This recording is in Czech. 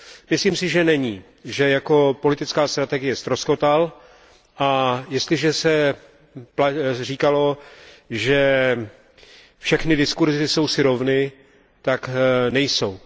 Myslím si, že není, že jako politická strategie ztroskotal, a jestliže se říkalo, že všechny diskurzy jsou si rovny, tak nejsou.